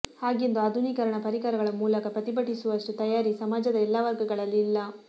ಹಾಗೆಂದು ಆಧುನೀಕರಣ ಪರಿಕರಗಳ ಮೂಲಕ ಪ್ರತಿಭಟಿಸುವಷ್ಟು ತಯಾರಿ ಸಮಾಜದ ಎಲ್ಲಾ ವರ್ಗಗಳಲ್ಲಿ ಇಲ್ಲ